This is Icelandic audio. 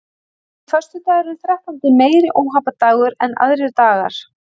Er föstudagurinn þrettándi meiri óhappadagur en aðrir dagar?